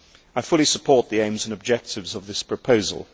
I fully support the aims and objectives of this proposal.